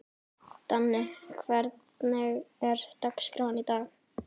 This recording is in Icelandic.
Danni, hvernig er dagskráin í dag?